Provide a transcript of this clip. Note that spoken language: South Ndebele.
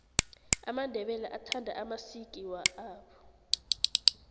amandebele athanda amasiki awo